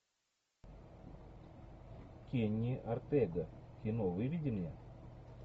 кенни ортега кино выведи мне